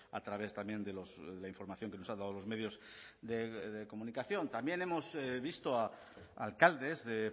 a través también de la información que nos han dado los medios de comunicación también hemos visto a alcaldes de